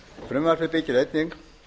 frumvarpi byggir einnig